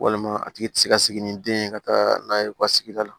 Walima a tigi tɛ se ka sigi ni den ye ka taa n'a ye u ka sigida la